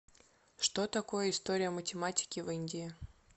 что такое история математики в индии